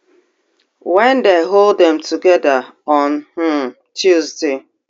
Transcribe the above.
wen dem hold dem togeda on um tuesday